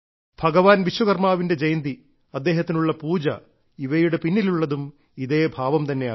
ഭഗവാൻ വിശ്വകർമ്മാവിന്റെ ജയന്തി അദ്ദേഹത്തിനുള്ള പൂജ ഇവയുടെ പിന്നിലുള്ളതും ഇതേ ഭാവം തന്നെയാകുന്നു